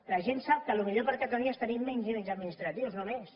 la gent sap que el millor per a catalunya és tenir menys nivells administratius no més